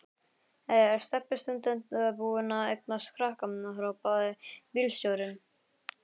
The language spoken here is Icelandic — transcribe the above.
Jæja er Stebbi stúdent búinn að eignast krakka? hrópaði bílstjórinn.